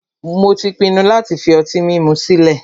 Mó tí pinnu láti fi ọtí mímu sile